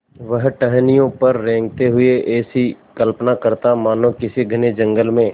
वह टहनियों पर रेंगते हुए ऐसी कल्पना करता मानो किसी घने जंगल में